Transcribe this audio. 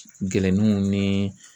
Nkɛlɛnninw ni